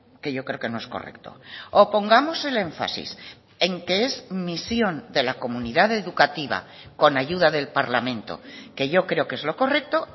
que yo creo que no es correcto o pongamos el énfasis en que es misión de la comunidad educativa con ayuda del parlamento que yo creo que es lo correcto